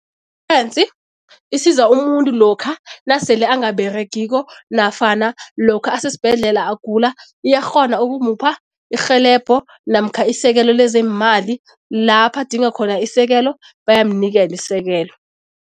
isiza umuntu lokha nasele angaberegiko nafana lokha asesibhedlela agula iyakghona ukumupha irhelebho namkha isekelo lezeemali lapha adinga khona isekelo, bayamnikela isekelo.